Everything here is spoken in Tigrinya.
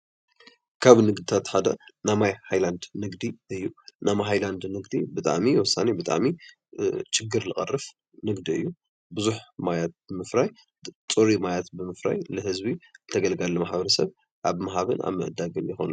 ካብ ንግድታት ሓደ ናይ ማይ ሃይላንድ ንግዲ እዩ፡፡ ናይ ማይ ሃይላንድ ንግዲ ብጣዕሚ ወሳኒ ፣ብጣዕሚ ሽግር ዝቐርፍ ንግዲ እዩ፡፡ ብዙሕ ማያት ብምፍራይ ፅሩይ ማያት ብምፍራዩ ንህዝቢ ተገልጋሊ ማሕበረ ሰብ ኣብ ምሃብን ምዕዳግን ይኮኑ፡፡